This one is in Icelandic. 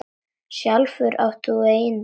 Sjálfur átt þú engin börn.